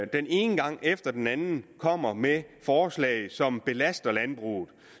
den ene gang efter den anden kommer med forslag som belaster landbruget og